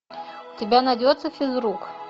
у тебя найдется физрук